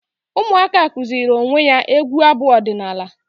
Ụmụaka kụziri onwe ya egwu abu ọdịnala